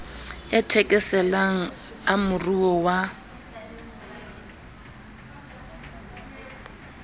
a thekeselang a moruo wa